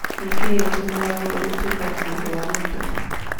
nĩ kĩĩ gĩtumanga ũndũ gũtuika mũrigo wa mũtwe